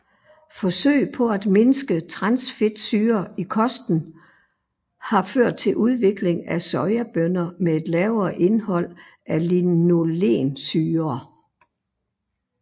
Forsøg på at mindske transfedtsyrer i kosten har ført til udvikling af sojabønner med et lavere indhold af linolensyrer